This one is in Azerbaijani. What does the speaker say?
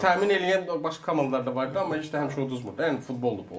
Təmin eləyən başqa komandalar da var idi, amma heç də həmişə udmurdu, yəni futboldur bu.